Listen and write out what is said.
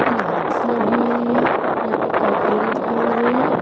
Lights लगी हुई है यहां पे खड्डे रखे हुए है।